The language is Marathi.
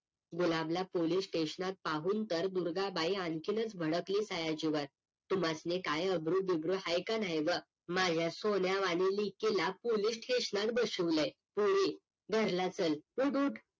गुलाबला पोलीस STATION त पाहून तर दुर्गा बाई आणखीच भडकली सयाजी वर तुम्हास्नी काही अब्रू बिब्रु आहे का नाही व्ह माझ्या सोन्या वाणी लेकीला पोलीस STATION त बसवलंय पोरी पोरी घारला चल ऊठ ऊठ